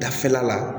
Dafɛla la